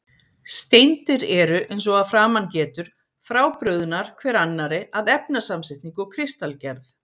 Steindir eru, eins og að framan getur, frábrugðnar hver annarri að efnasamsetningu og kristalgerð.